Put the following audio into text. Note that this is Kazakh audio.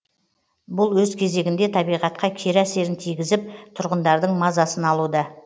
бұл өз кезегінде табиғатқа кері әсерін тигізіп тұрғындардың мазасын алуда